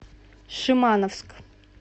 шимановск